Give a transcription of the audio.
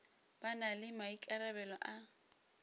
ba na le maikarabelo a